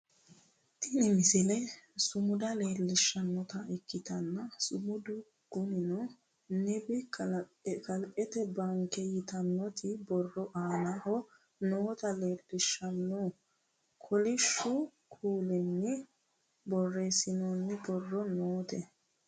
Tini misile sumuda leellishshannota ikkitanna sumudu kunino nibi kalqete baanke yitannoti borro aanaho noota leellishshanno kolishshu kuulinni borreessinoonni borro noote